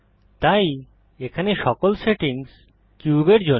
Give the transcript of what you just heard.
তাই এখানে সকল সেটিংস কিউবের জন্য